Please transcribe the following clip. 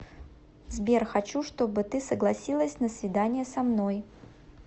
сбер хочу чтобы ты согласилась на свидание со мной